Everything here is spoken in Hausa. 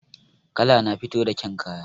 Kala na fito da ƙyan kaya